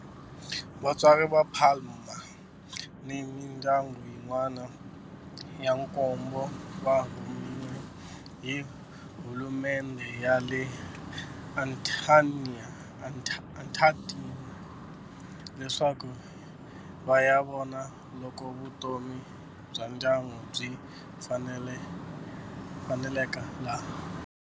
Vatswari va Palma ni mindyangu yin'wana ya nkombo va rhumeriwe hi hulumendhe ya le Argentina leswaku va ya vona loko vutomi bya ndyangu byi faneleka laha.